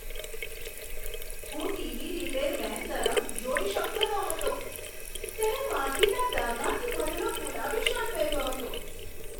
હું TV repair man તરફ જોઈ શકતો ન હતો. તેણે માટીના ડાઘાથી ભરેલો ગુલાબી શર્ટ પહેર્યો હતો.